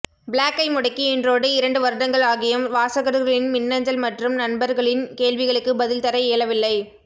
ப்ளாக்கை முடக்கி இன்றோடு இரண்டு வருடங்கள் ஆகியும் வாசகர்களின் மின்னஞ்சல் மற்றும் நண்பர்களின் கேள்விகளுக்கு பதில் தர இயலவில்லை